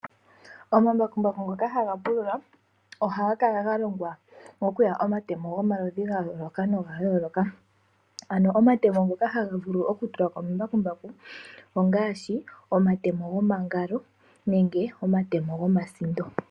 Omambakumbaku ngoka haga pulula oha ga kala ga longwa okuya omatemo gomaludhi ga yooloka noga yooloka ano omatemo ngoka haga vulu okutulwa komambakumbaku ongaashi omatemo gomangalo nenge omatemo gomasindo.